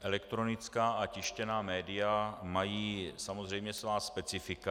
Elektronická a tištěná média mají samozřejmě svá specifika.